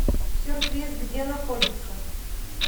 сюрприз где находится